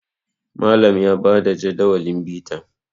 Malam ya ba da Jadawalin bita